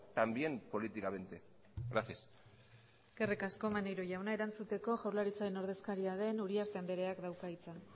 también políticamente gracias eskerrik asko maneiro jauna erantzuteko jaurlaritzaren ordezkaria den uriarte andereak dauka hitza